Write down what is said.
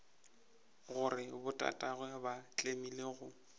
gore botatagwe ba tlemile go